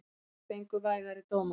Þrír fengu vægari dóma.